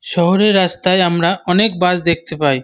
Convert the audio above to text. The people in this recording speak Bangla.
শহরের রাস্তায় আমরা অনেক বাস দেখতে পাই।